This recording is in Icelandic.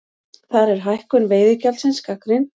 Þar er hækkun veiðigjaldsins gagnrýnd